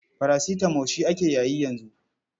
Parasitamo shi ake yayi yanzu.